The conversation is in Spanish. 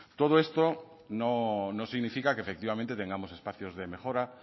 todo esto no significa que efectivamente tengamos espacios de mejora